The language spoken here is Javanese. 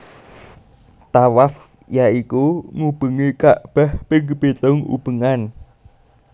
Thawaf ya iku ngubengi ka bah ping pitung ubengan